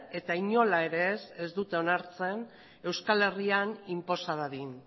eta inola ere ez ez dute onartzen euskal herrian inposa dadin